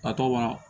A tɔgɔ